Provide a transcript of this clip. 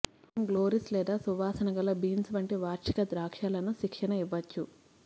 ఉదయం గ్లోరీస్ లేదా సువాసనగల బీన్స్ వంటి వార్షిక ద్రాక్షలను శిక్షణ ఇవ్వవచ్చు